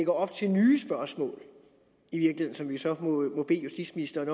op til nye spørgsmål som vi så må bede justitsministeren